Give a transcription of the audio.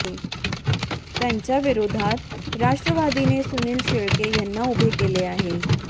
त्यांच्या विरोधात राष्ट्रवादीने सुनील शेळके यांना उभे केले आहे